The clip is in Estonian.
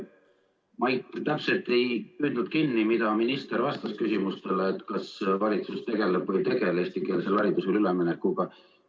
Ma täpselt ei püüdnud kinni, mida minister vastas küsimustele, kas valitsus tegeleb või ei tegele eestikeelsele haridusele üleminekuga.